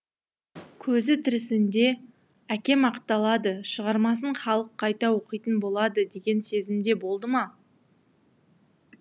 көзі тірісінде әкем ақталады шығармасын халық қайта оқитын болады деген сезімде болды ма